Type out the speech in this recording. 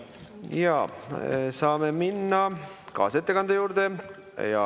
Saame minna kaasettekande juurde.